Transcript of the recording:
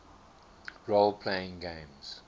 role playing games